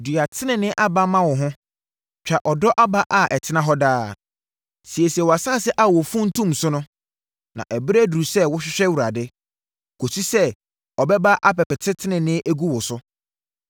Dua tenenee aba ma wo ho, twa ɔdɔ aba a ɛtena hɔ daa, siesie wʼasase a wɔmfuntum so no; na ɛberɛ aduru sɛ wohwehwɛ Awurade, kɔsi sɛ ɔbɛba abɛpete tenenee agu wo so.